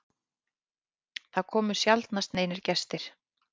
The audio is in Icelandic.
Það komu sjaldnast neinir gestir.